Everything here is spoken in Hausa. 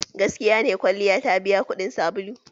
Gaskiya ne kwalliya ta biya kuɗin sabulu?